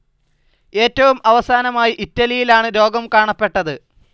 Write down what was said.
ഏറ്റവും അവസാനമായി ഇറ്റലിയിലാണ്‌ രോഗം കാണപ്പെട്ടത്.